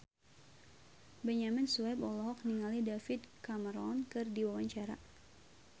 Benyamin Sueb olohok ningali David Cameron keur diwawancara